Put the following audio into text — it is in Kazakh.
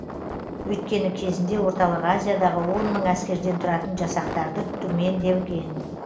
өйткені кезінде орталық азиядағы он мың әскерден тұратын жасақтарды түмен деген